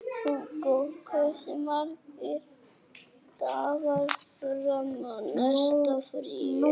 Húgó, hversu margir dagar fram að næsta fríi?